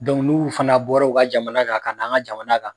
n'u fana bɔra u ka jamana kan ka n' an ka jamana kan.